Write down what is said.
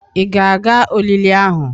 Ị ga-aga olili ahụ?